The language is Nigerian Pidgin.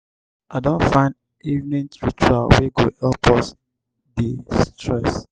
i don find evening ritual wey go help us de-stress.